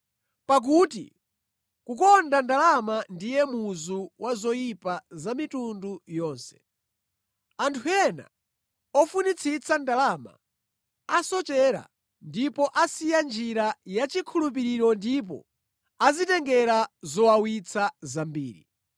Pakuti kukonda ndalama ndiye muzu wa zoyipa za mitundu yonse. Anthu ena ofunitsitsa ndalama, asochera ndipo asiya njira yachikhulupiriro ndipo adzitengera zowawitsa zambiri.